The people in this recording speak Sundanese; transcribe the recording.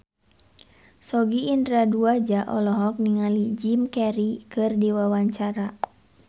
Sogi Indra Duaja olohok ningali Jim Carey keur diwawancara